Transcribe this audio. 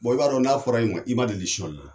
i b'a dɔn n'a fɔra i ma, i ma deli sunyalila.